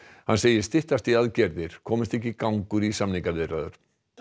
hann segir styttast í aðgerðir komist ekki gangur í samningaviðræður